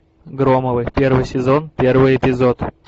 громовы первый сезон первый эпизод